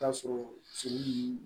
Taa sɔrɔ seli ni